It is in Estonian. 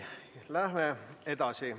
Läheme edasi.